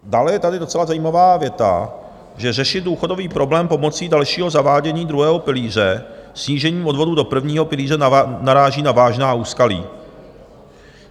Dále je tady docela zajímavá věta, že řešit důchodový problém pomocí dalšího zavádění druhého pilíře snížením odvodů do prvního pilíře naráží na vážná úskalí.